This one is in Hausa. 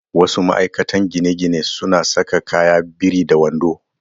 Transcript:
Wasu ma'aikatan gine-ginen suna saka kaya biri da wando.